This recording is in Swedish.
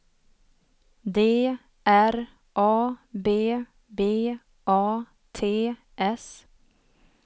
D R A B B A T S